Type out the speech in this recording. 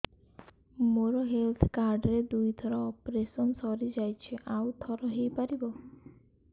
ମୋର health card ରେ ଦୁଇ ଥର ଅପେରସନ ସାରି ଯାଇଛି ଆଉ ଥର ହେଇପାରିବ